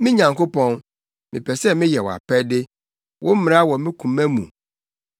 Me Nyankopɔn, mepɛ sɛ meyɛ wʼapɛde; wo mmara wɔ me koma mu.”